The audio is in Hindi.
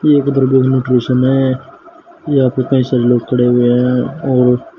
ये एक मे है यहां पे कई सारे लोग खड़े हुए हैं और --